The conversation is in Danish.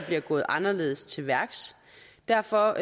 bliver gået anderledes til værks derfor